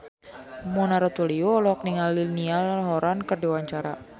Mona Ratuliu olohok ningali Niall Horran keur diwawancara